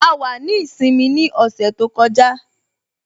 A wà ní ìsinmi ní ọ̀sẹ̀ tó kọjá